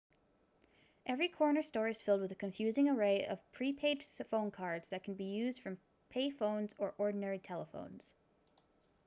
every corner store is filled with a confusing array of pre-paid phone cards that can be used from pay phones or ordinary telephones